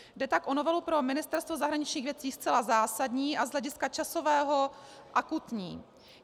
Jde tak o novelu pro Ministerstvo zahraničních věcí zcela zásadní a z hlediska časového akutní.